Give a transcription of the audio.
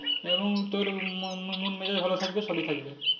এবং তোর ম~ ম~ মন মেজাজ ভালো থাকবে সবই থাকবে